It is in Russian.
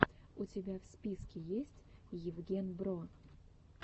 у тебя в списке есть евгенбро